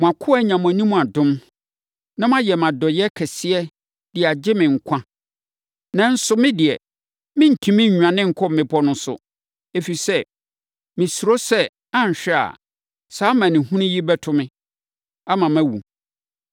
Mo akoa anya mo anim adom, na moayɛ me adɔeɛ kɛseɛ de agye me nkwa. Nanso, me deɛ, merentumi nnwane nkɔ mmepɔ no so, ɛfiri sɛ, mesuro sɛ anhwɛ a, saa amanehunu yi bɛto me, ama mawu.